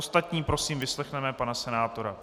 Ostatní prosím, vyslechněme pana senátora.